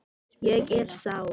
Ég er sár.